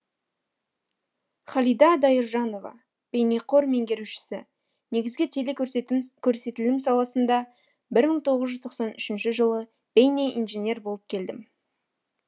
халида дайыржанова бейнеқор меңгерушісі негізгі теле көрсетілім саласында бір мың тоғыз жүз тоқсан үшінші жылы бейнеинженер болып келдім